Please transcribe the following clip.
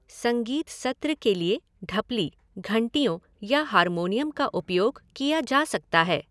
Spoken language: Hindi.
संगीत सत्र के लिए ढपली, घंटियों या हारमोनियम का उपयोग किया जा सकता है।